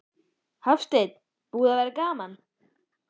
Hafsteinn: Búið að vera gaman?